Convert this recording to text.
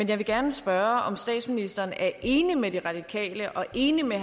jeg vil gerne spørge om statsministeren er enig med de radikale og enig med